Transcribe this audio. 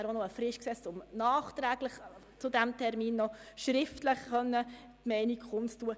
Es wurde zudem eine Frist gesetzt, damit nachträglich zu diesem Termin schriftliche Meinungen kundgetan werden konnten.